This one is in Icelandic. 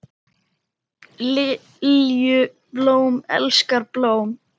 Lilju, blóm elskar blóm.